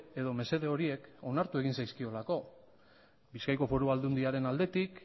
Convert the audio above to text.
edo mesede horiek onartu egin zaizkiolako bizkaiko foru aldundiaren aldetik